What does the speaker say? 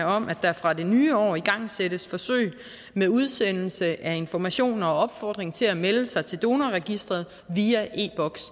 om at der fra det nye år igangsættes forsøg med udsendelse af information og opfordring til at melde sig til donorregistret via e box